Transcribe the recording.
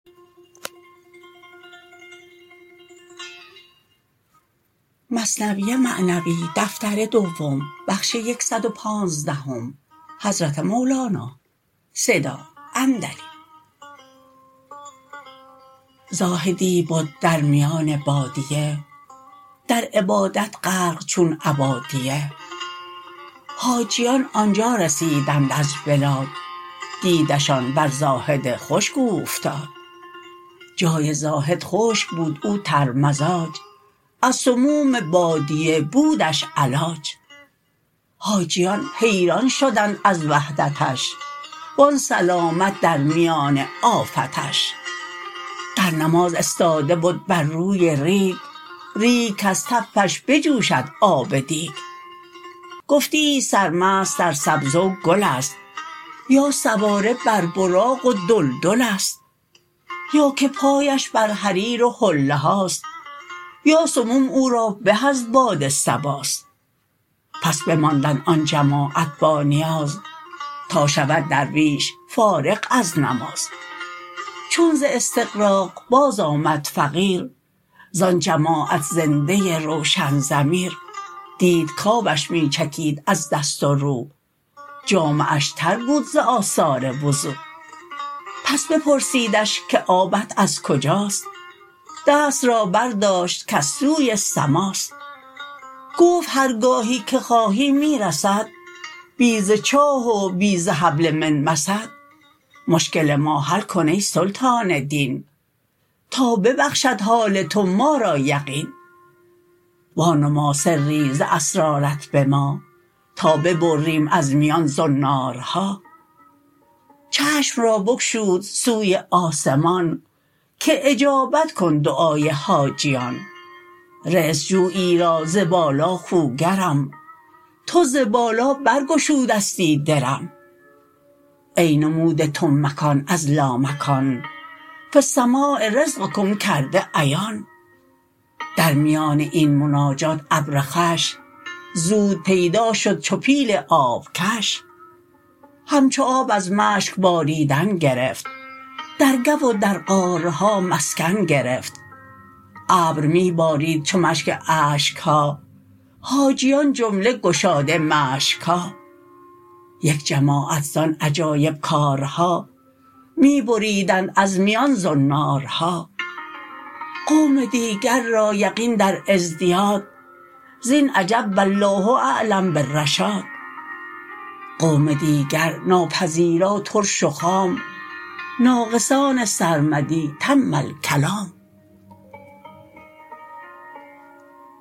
زاهدی بد در میان بادیه در عبادت غرق چون عبادیه حاجیان آنجا رسیدند از بلاد دیده شان بر زاهد خشک اوفتاد جای زاهد خشک بود او ترمزاج از سموم بادیه بودش علاج حاجیان حیران شدند از وحدتش و آن سلامت در میان آفتش در نماز استاده بد بر روی ریگ ریگ کز تفش بجوشد آب دیگ گفتیی سرمست در سبزه و گلست یا سواره بر براق و دلدلست یا که پایش بر حریر و حله هاست یا سموم او را به از باد صباست پس بماندند آن جماعت با نیاز تا شود درویش فارغ از نماز چون ز استغراق باز آمد فقیر زان جماعت زنده روشن ضمیر دید کآبش می چکید از دست و رو جامه اش تر بود از آثار وضو پس بپرسیدش که آبت از کجاست دست را بر داشت کز سوی سماست گفت هر گاهی که خواهی می رسد بی ز چاه و بی ز حبل من مسد مشکل ما حل کن ای سلطان دین تا ببخشد حال تو ما را یقین وا نما سری ز اسرارت بما تا ببریم از میان زنارها چشم را بگشود سوی آسمان که اجابت کن دعای حاجیان رزق جویی را ز بالا خوگرم تو ز بالا بر گشودستی درم ای نموده تو مکان از لامکان فی السماء رزقکم کرده عیان در میان این مناجات ابر خوش زود پیدا شد چو پیل آب کش همچو آب از مشک باریدن گرفت در گو و در غارها مسکن گرفت ابر می بارید چون مشک اشکها حاجیان جمله گشاده مشکها یک جماعت زان عجایب کارها می بریدند از میان زنارها قوم دیگر را یقین در ازدیاد زین عجب والله اعلم بالرشاد قوم دیگر ناپذیرا ترش و خام ناقصان سرمدی تم الکلام